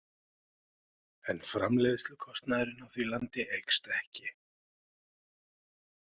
En framleiðslukostnaðurinn á því landi eykst ekki.